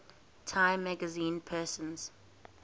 time magazine persons